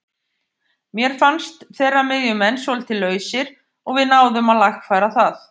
Mér fannst þeirra miðjumenn svolítið lausir og við náðum að lagfæra það.